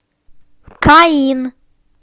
каин